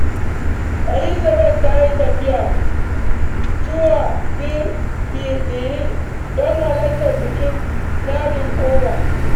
Elizabeth ta yi tafiya zuwa Benin don halartar bikin naɗin Oba.